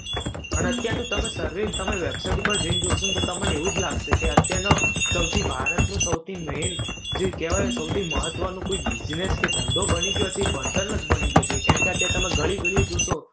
અને અત્યારનું તમે survey તમે website ઉપર જઈને જોશોને તો તમને એવું જ લાગશે કે અત્યારનો સૌથી ભારતનો સૌથી main, જે કહેવાયને સૌથી મહત્વનો કોઈ business કે ધંધો બની ગયો છે ઈ ભણતર જ બની ગયો છે. કારણકે અત્યારે તમે ગલી ગલીએ જોશો